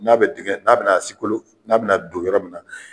N'a be dingin n'a be na sigi kolo n'a be na don yɔrɔ min na